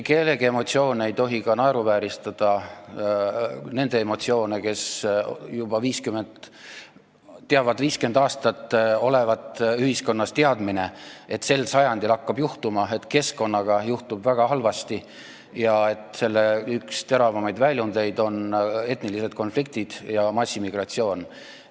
Ei tohi ka naeruvääristada nende emotsioone, kes teavad, et 50 aastat on ühiskonnas olnud teadmine, et sel sajandil hakkab juhtuma: keskkonnaga juhtub midagi väga halba ja selle üks teravamaid väljundeid on etnilised konfliktid ja massimigratsioon.